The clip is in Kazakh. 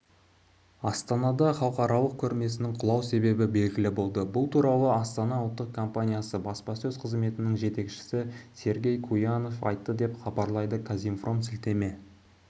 астанада халықаралық көрмесінің құлау себебі белгілі болды бұл туралы астана ұлттық компаниясы баспасөз-қызметінің жетекшісі сергей куянов айтты деп хабарлайды казинформ сілтеме